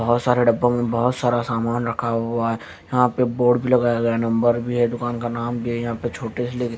बहुत सारे डब्बों में बहुत सारा सामान रखा हुआ है यहां पे बोर्ड भी लगाया गया है नंबर भी है दुकान का नाम भी है यहां पे छोटे से ले के --